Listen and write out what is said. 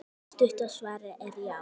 Stutta svarið er já!